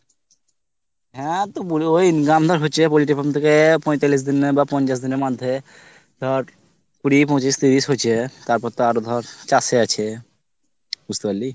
হ্যাঁ তো বোরো ওই income ধর হচ্ছে ওই poultry farm থেকে পঁইতালিশ বা পঞ্চাশ দিনের মধ্যে ধর, কুড়ি পঁচিশ তিরিশ হছে তারপর তো আরো ধর চাষ এ আছে বুঝতেপারলি।